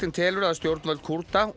telur að stjórnvöld Kúrda og